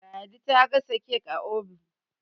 ladi ta gasa kek a obin